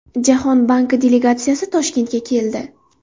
Jahon banki delegatsiyasi Toshkentga keldi.